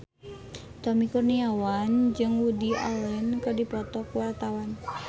Tommy Kurniawan jeung Woody Allen keur dipoto ku wartawan